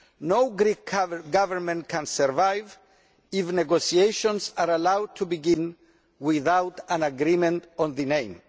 No Greek Government can survive if negotiations are allowed to begin without an agreement on the name.